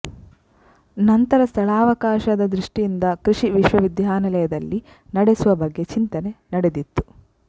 ನಂತರ ಸ್ಥಳಾವಕಾಶದ ದೃಷ್ಟಿಯಿಂದ ಕೃಷಿ ವಿಶ್ವವಿದ್ಯಾಲಯದಲ್ಲಿ ನಡೆಸುವ ಬಗ್ಗೆ ಚಿಂತನೆ ನಡೆದಿತ್ತು